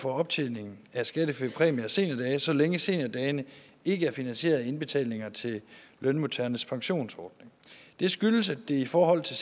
for optjeningen af skattefri præmie af seniordage så længe seniordagene ikke er finansieret af indbetalinger til lønmodtagernes pensionsordning det skyldes at det i forhold til